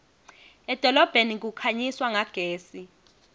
edolobheni kukhanyiswa ngagesi